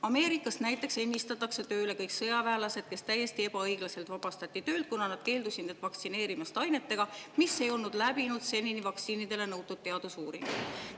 Ameerikas näiteks ennistatakse tööle kõik sõjaväelased, kes täiesti ebaõiglaselt vabastati töölt, kuna nad keeldusid end vaktsineerimast ainetega, mis ei olnud läbinud senini vaktsiinide puhul nõutud teadusuuringuid.